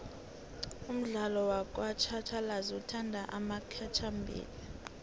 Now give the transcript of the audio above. umdlalo wakj hatjhalazi uthatha amaikjamabili